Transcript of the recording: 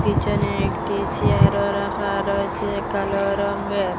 পিছনে একটি চেয়ারও রাখা রয়েছে কালো রঙের।